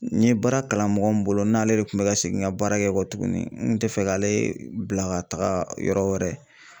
N ye baara kalan mɔgɔ min bolo n'ale le kun bɛ ka segin ka baara kɛ kɔtuguni n kun tɛ fɛ k'ale bila ka taga yɔrɔ wɛrɛ.